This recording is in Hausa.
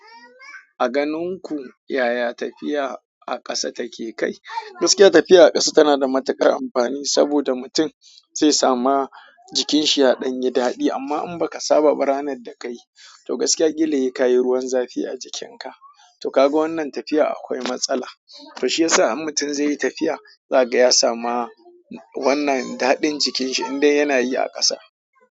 A ganin ku yaya tafiya a ƙasa take kai? Gaskiya tafiya a ƙasa tana da matuƙar amfani saboda mutum zai sama jikinshi ya ɗan yi daɗi amma in baka saba ranar da ka yi, to gaskiya kil hi kayi ruwan zafi a jikin ka. To kaga wannan tafiya akwai matsala. To shi yasa in mutum zai yi tafiya, zaga ya samu wannan daɗin jikin shi idai yana yi a ƙasa.